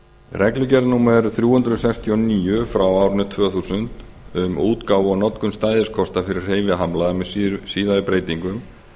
reglugerð númer þrjú hundruð sextíu og níu frá árinu tvö þúsund um útgáfu og notkun stæðiskorta fyrir hreyfihamlaða með síðari breytingum